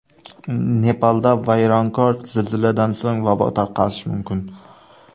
Nepalda vayronkor zilziladan so‘ng vabo tarqalishi mumkin.